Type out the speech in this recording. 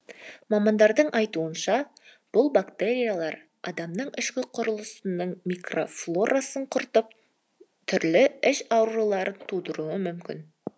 мамандардың айтуынша бұл бактериялар адамның ішкі құрылысының микрофлорасын құртып түрлі іш ауруларын тудыруы мүмкін